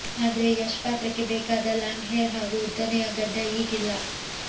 ಆದ್ರೆ ಯಶ್ ಪಾತ್ರಕ್ಕೆ ಬೇಕಾದ ಲಾಂಗ್ ಹೇರ್ ಹಾಗೂ ಉದ್ದನೆಯ ಗಡ್ಡ ಈಗಿಲ್ಲ